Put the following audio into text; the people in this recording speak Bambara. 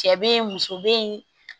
Cɛ be yen muso be yen